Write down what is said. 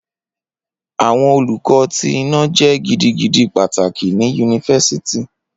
Awọn Oluko ti ina- jẹ gidigidi pataki ni University